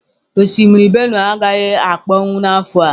Osimiri Benue agaghị akpọnwụ n'afọ a.